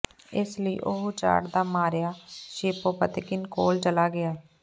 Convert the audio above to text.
ਇਸ ਲਈ ਉਹ ਉਚਾਟ ਦਾ ਮਾਰਿਆ ਸ਼ੇਪੋਤਕਿਨ ਕੋਲ ਚਲਾ ਗਿਆ